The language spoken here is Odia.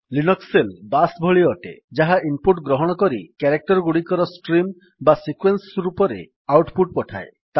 ଲିନକ୍ସ୍ ସେଲ୍ ବାଶ୍ ଭଳି ଅଟେ ଯାହା ଇନପୁଟ୍ ଗ୍ରହଣ କରି କ୍ୟାରେକ୍ଟର୍ ଗୁଡିକର ଷ୍ଟ୍ରିମ୍ ବା ସିକ୍ୱେନ୍ସ୍ ରୂପରେ ଆଉଟ୍ ପୁଟ୍ ପଠାଏ